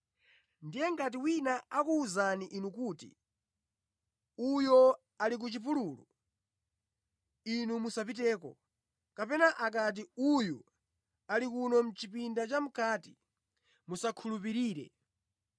“Ndiye ngati wina akuwuzani inu kuti, ‘Uyo ali ku chipululu,’ inu musapiteko; kapena akati, ‘Uyu ali kuno mʼchipinda chamʼkati,’ musakhulupirire.